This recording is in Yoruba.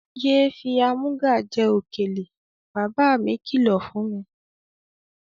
Ye fi í amúga jẹ òkèlè! Baba mí kí lọ fún mi.